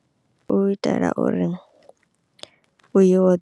U itela uri .